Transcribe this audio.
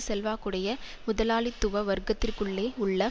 செல்வாக்குடைய முதலாளித்துவ வர்க்கத்திற்குள்ளே உள்ள